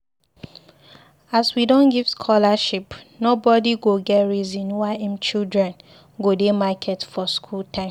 As we don give scholarship, nobodi go get reason why im children go dey market for skool time